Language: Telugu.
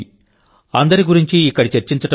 అందరి గురించీ ఇక్కడ చర్చించడం కష్టం